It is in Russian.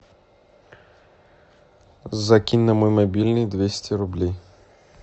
закинь на мой мобильный двести рублей